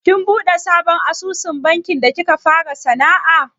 Kin buɗe sabon asusun banki da kika fara sana'a?